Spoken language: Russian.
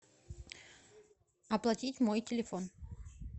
оплатить мой телефон